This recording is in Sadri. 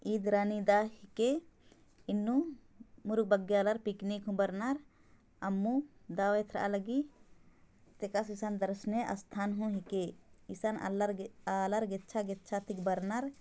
इ रानी दाह हिके एन्नु मुरुक बग्गे आलार पिकनिक हु बरनार अम्मू दवाई एथरा लगी तेकस एसने दर्शनीय स्थान हों हिके एसन आलार अ आलार गेछा गेछा नु बरनार |